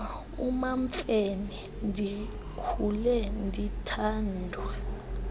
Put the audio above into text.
umamfene ndikhule ndithandwa